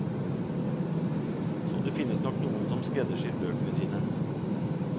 Så det finnes nok noen som skreddersyr bøkene sine.